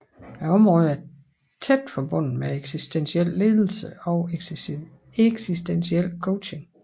Området er tæt forbundet med eksistentiel ledelse og eksistentiel coaching